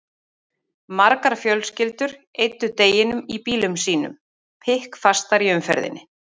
Margar fjölskyldur eyddu deginum í bílum sínum, pikkfastar í umferðinni.